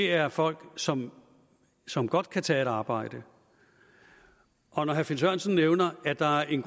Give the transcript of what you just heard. er folk som som godt kan tage et arbejde og når herre finn sørensen nævner at der er en